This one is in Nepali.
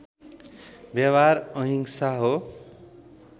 व्यवहार अहिंसा हो